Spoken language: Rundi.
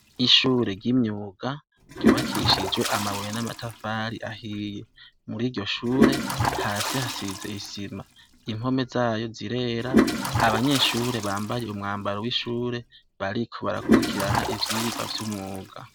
Ishure ryimyuga yubakishijwe amabuye namatafari ahiye muriryoshure hasi hasize isima impome zayo zirera abanyeshure bambaye umwambaro wishure bariko barakwirikirana ivyirwa vyumuga